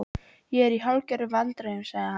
Ég er í hálfgerðum vandræðum sagði hann.